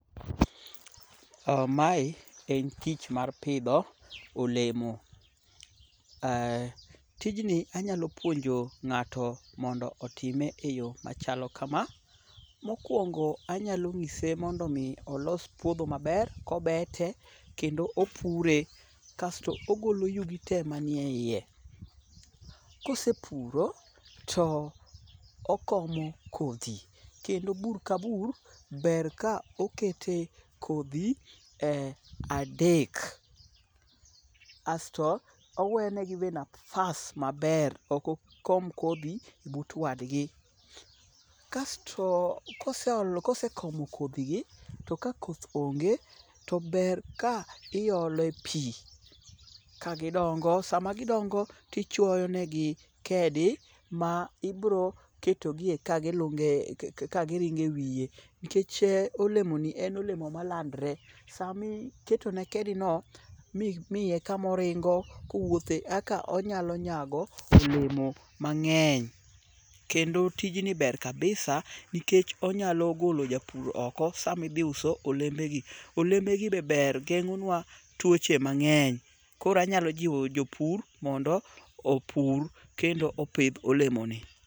Mae en tich mar pidho olemo. Tijni anyalo puonjo ng'ato mondo otime e yo machalo kama; mokwongo anyalo ng'ise mondo omi olos puodho maber kobete kendo opure kasto ogolo yugi te manie iye. Kosepuro to okomo kodhi kendo bur ka bur ber ka okete kodhi adek asto owenegi be nafas maber ok okom kodhi but wadgi. Kasto kosekomo kodhigi to ka koth onge to ber ka iole pin kagidongo sama gidongo tichwoyonegi kedi ma ibro ketogie ka giringe wiye nkech olemoni en olemo malandre samiketone kedino mimiye kamoringo kowuothe aka onyalo nyago olemo mang'eny. Kendo tijni ber kabisa nikech onyalo golo japur oko samidhiuso olembegi. Olembegi be ber geng'onwa tuoche mang'eny, koro anyalo jiwo jopur mondo opur kendo opidh olemoni.